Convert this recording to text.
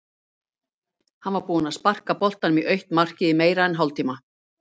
Hann var búinn að sparka boltanum í autt markið í meira en hálftíma.